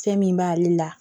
Fɛn min b'ale la